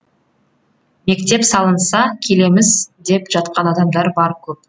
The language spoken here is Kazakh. мектеп салынса келеміз деп жатқан адамдар бар көп